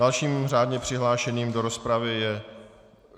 Dalším řádně přihlášeným do rozpravy je...